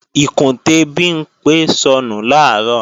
Ìkùntè Bimpé sọnù làárọ̀